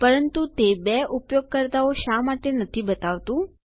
પરંતુ તે બે ઉપયોગકર્તાઓ શા માટે નથી બતાવતું